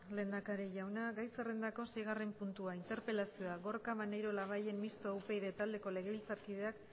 lehendakari jauna gai zerrendako seigarren puntua interpelazioa gorka maneiro labayen mistoa upyd taldeako legebiltzarkideak